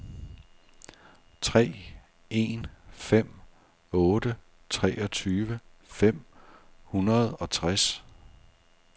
tre en fem otte treogtyve fem hundrede og tres